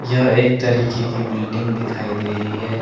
यह एक तरीके की बिल्डिंग दिखाई दे रही है ।